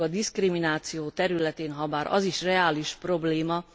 Nemcsak a diszkrimináció területén, habár az is reális probléma.